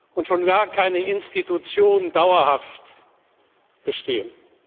Idee, und schon gar keine Institution, dauerhaft bestehen.